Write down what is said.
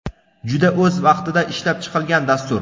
Juda o‘z vaqtida ishlab chiqilgan dastur.